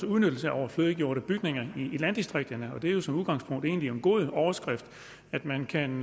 udnyttelse af overflødiggjorte bygninger i landdistrikterne det er jo som udgangspunkt egentlig en god overskrift at man kan